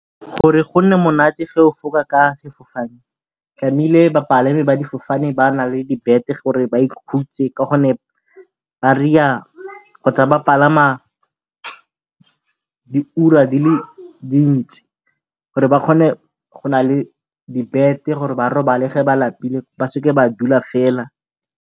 Gore go nne monate ge o fofa ka sefofane bapalami ba difofane ba nna le dibete gore ba ikhutse ka gonne ba kgotsa ba palama di ura di le dintsi gore ba kgone go nna le dibete gore ba robale ge ba lapile ba seke ba dula fela.